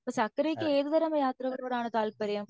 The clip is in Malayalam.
സത്യദേവിയക്ക് ഏത് തരാം യാത്രകലോടാണ് താല്പര്യം